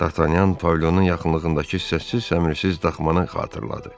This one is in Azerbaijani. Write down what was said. Dartanyan pavilyonun yaxınlığındakı səssiz-səmirsiz daxmanı xatırladı.